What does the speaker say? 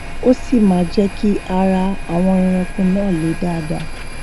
ó sì máa jé kí ara àwọn ẹrànko náà le dáadá